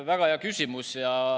Väga hea küsimus!